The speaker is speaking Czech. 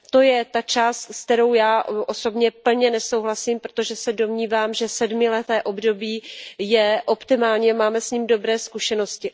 To je ta část, se kterou já osobně plně nesouhlasím, protože se domnívám, že sedmileté období je optimální, máme s ním dobré zkušenosti.